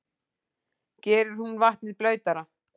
Gerir hún vatnið blautara?